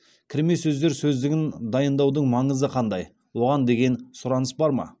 кірме сөздер сөздігін дайындаудың маңызы қандай оған деген сұраныс бар ма